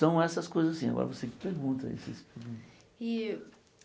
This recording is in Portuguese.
São essas coisas assim, agora você que pergunta. E